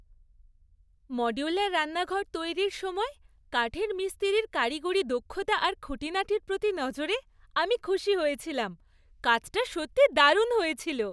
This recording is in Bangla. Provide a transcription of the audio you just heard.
মডিউলার রান্নাঘর তৈরির সময়ে কাঠের মিস্ত্রির কারিগরি দক্ষতা আর খুঁটিনাটির প্রতি নজরে আমি খুশি হয়েছিলাম। কাজটা সত্যিই দারুণ হয়েছিল।